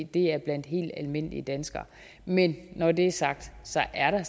det er blandt helt almindelige danskere men når det er sagt så er der